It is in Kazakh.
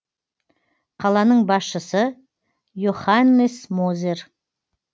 қаланың басшысы йоханнес мозер